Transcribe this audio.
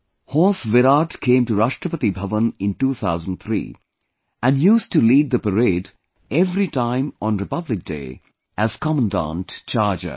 Horse Virat came to Rashtrapati Bhavan in 2003 and used to lead the parade every time on Republic Day as Commandant Charger